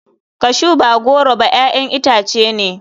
Cashew ba goro ba 'ya'yan itace ne.